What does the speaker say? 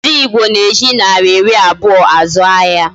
Ndi Igbo na-eji naira iri abuo azu ahia.